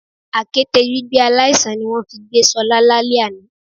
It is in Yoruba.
Àkéte gbígbé aláìsàn ni wón fi gbé Solá lálé àná